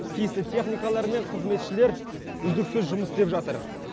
тиісті техникалар мен қызметшілер үздіксіз жұмыс істеп жатыр